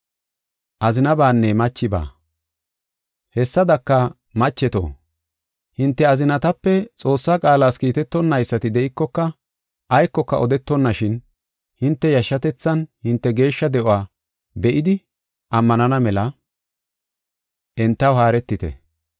Hessadaka, macheto, hinte azinatape Xoossaa qaalas kiitetonaysati de7ikoka aykoka odetonashin, hinte yashshatethaanne hinte geeshsha de7uwa be7idi ammanana mela entaw haaretite.